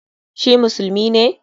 Shi musulmi ne?